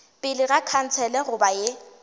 pele ga khansele goba ye